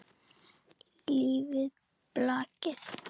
Lifi blakið!